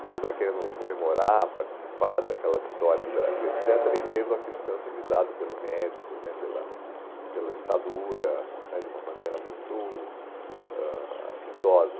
Você está querendo comemorar, participar daquela vitória do Brasil, et cetera, e vendo aquilo sendo utilizado pelo Médici né, pela pela ditadura, né de uma maneira muito ãh